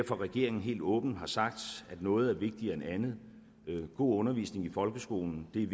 regeringen helt åbent har sagt at noget er vigtigere end andet god undervisning i folkeskolen er